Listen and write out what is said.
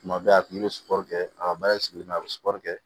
Tuma bɛɛ a kun bɛ sukoro kɛ a ka baara sigilen bɛ a bɛ sukɔro kɛ